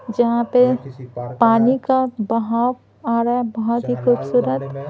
जहाँ पे पानी का बहाव आ रहा है बहुत ही खूबसूरत--